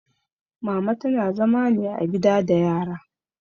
Mama tana zama ne a gida da yara